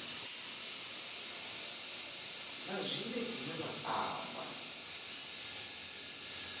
na zwine dzina la amba